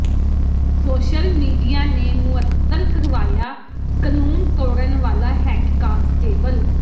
social media ਨੇ ਮੁਅੱਤਲ ਕਰਵਾਇਆ ਕਨੂੰਨ ਤੋੜਣ ਵਾਲਾ ਹੈੱਡ ਕਾਂਸਟੇਬਲ